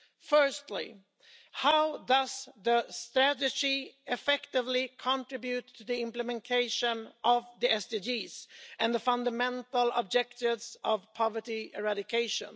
Firstly, how does the strategy effectively contribute to the implementation of the SDGs and the fundamental objectives of poverty eradication?